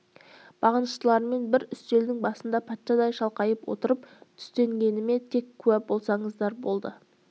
бағыныштыларыммен бір үстелдің басында патшадай шалқайып отырып түстенгеніме тек куә болсаңыздар болды